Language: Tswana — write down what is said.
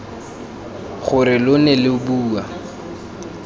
gore lo ne lo bua